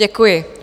Děkuji.